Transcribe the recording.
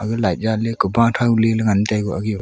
aga light jan ley kuba thao ley ngan tai koh a .]